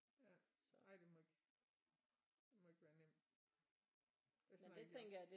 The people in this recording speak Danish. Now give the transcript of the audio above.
Ja nej det må ikke det må ikke være nemt hvis man også